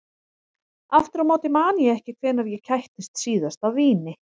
Aftur á móti man ég ekki hvenær ég kættist síðast af víni.